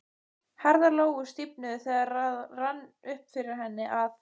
Herðar Lóu stífnuðu þegar það rann upp fyrir henni að